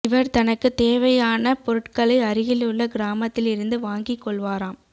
இவர் தனக்கு தேவையான பொருட்களை அருகிலுள்ள கிராமத்தில் இருந்து வாங்கி கொள்வாராம்